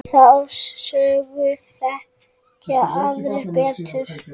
Þá sögu þekkja aðrir betur.